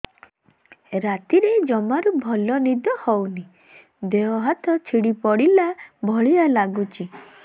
ରାତିରେ ଜମାରୁ ଭଲ ନିଦ ହଉନି ଦେହ ହାତ ଛିଡି ପଡିଲା ଭଳିଆ ଲାଗୁଚି